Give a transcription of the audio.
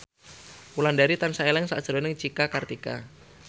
Wulandari tansah eling sakjroning Cika Kartika